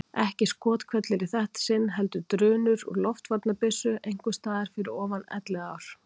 Ekki skothvellir í þetta sinn heldur drunur úr loftvarnabyssu einhvers staðar fyrir ofan Elliðaár.